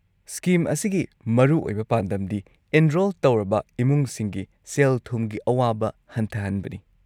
Scheme ꯑꯁꯤꯒꯤ ꯃꯔꯨꯑꯣꯏꯕ ꯄꯥꯟꯗꯝꯗꯤ ꯑꯦꯟꯔꯣꯜ ꯇꯧꯔꯕ ꯏꯃꯨꯡꯁꯤꯡꯒꯤ ꯁꯦꯜ-ꯊꯨꯝꯒꯤ ꯑꯋꯥꯕ ꯍꯟꯊꯍꯟꯕꯅꯤ ꯫